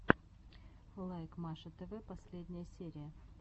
лайк маша тв последняя серия